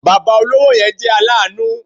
Bàbá olówó yẹn jẹ́ aláàánú